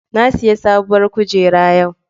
Na sayi sabuwar kujera yau.